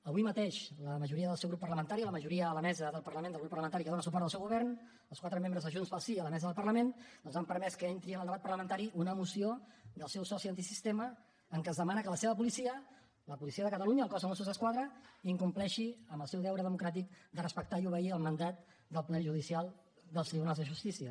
avui mateix la majoria del seu grup parlamentari la majoria a la mesa del parlament del grup parlamentari que dóna suport al seu govern els quatre membres de junts pel sí a la mesa del parlament doncs han permès que entri en el debat parlamentari una moció del seu soci antisistema en què es demana que la seva policia la policia de catalunya el cos de mossos d’esquadra incompleixi amb el seu deure democràtic de respectar i obeir el mandat del poder judicial dels tribunals de justícia